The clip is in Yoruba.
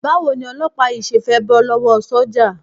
Báwo ni olọ́pàá yìí ṣe fẹ́ bọ́ lọ́wọ́ sọ́jà?